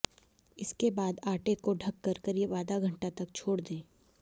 इसके बाद आटे को ढक कर करीब आधा घंटा तक छोड़ दें